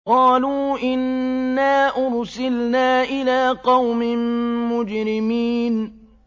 قَالُوا إِنَّا أُرْسِلْنَا إِلَىٰ قَوْمٍ مُّجْرِمِينَ